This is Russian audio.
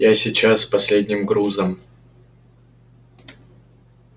я сейчас с последним грузом